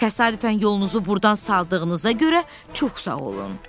Təsadüfən yolunuzu burdan saldığınıza görə çox sağ olun.